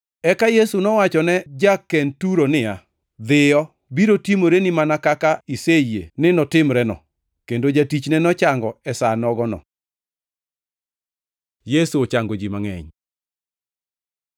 Eka Yesu nowachone ja-Kenturo niya, “Dhiyo! Biro timoreni mana kaka iseyie ni notimreno.” Kendo jatichne nochango e sa nogono. Yesu ochango ji mangʼeny